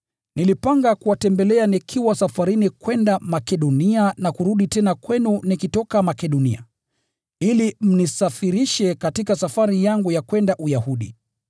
Nilipanga kuwatembelea nikiwa safarini kwenda Makedonia na kurudi tena kwenu nikitoka Makedonia, ili mnisafirishe katika safari yangu ya kwenda Uyahudi.